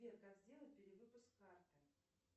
сбер как сделать перевыпуск карты